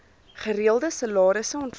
gereelde salarisse ontvang